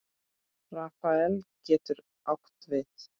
Rafael getur átt við